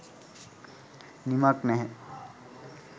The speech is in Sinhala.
නිමක් නැහැ.